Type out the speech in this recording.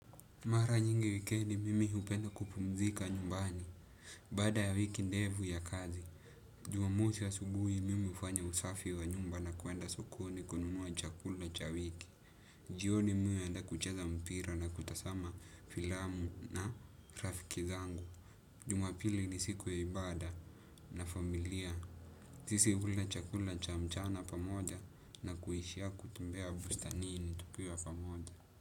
Mara nyingi wikendi mimi hupenda kupumzika nyumbani. Baada ya wiki ndevu ya kazi. Jumamosi asubuhi mimi ufanya usafi wa nyumba na kuenda sokoni kununua chakula cha wiki. Jioni mimi huenda kucheza mpira na kutasama filamu na rafiki zangu. Jumapili ni siku ya ibada na familia. Sisi hula chakula cha mchana pamoja na kuishia kutembea bustanini tukiwa pamoja.